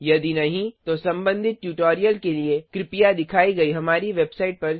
यदि नहीं तो संबंधित ट्यूटोरियल के लिए कृपया दिखाई गई हमारी वेबसाइट पर जाएँ